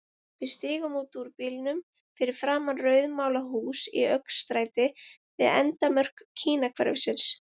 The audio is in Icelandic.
Við stigum út úr bílnum fyrir framan rauðmálað hús í öngstræti við endamörk Kínahverfisins.